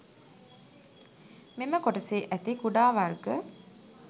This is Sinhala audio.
මෙම කොටසේ ඇති කුඩා වර්ග